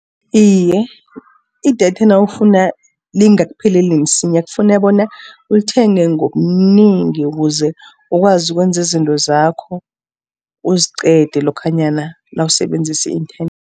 Iye, idatha nawufuna lingakupheleli msinya, kufuna bona ulithenge ngobunengi, ukuze ukwazi ukwenzi izinto zakho uziqede lokhanyana nawusebenzisa i-inthanethi.